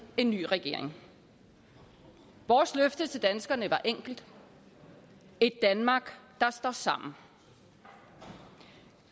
en ny regering vores løfte til danskerne var enkelt et danmark der står sammen